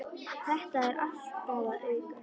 Þetta er alltaf að aukast.